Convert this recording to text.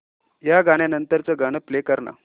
या गाण्या नंतरचं गाणं प्ले कर ना